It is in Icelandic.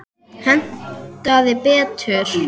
Hentaði betur.